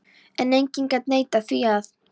En enginn gat neitað því að